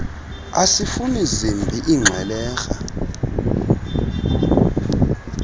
asifuni zimbi iingxwelerha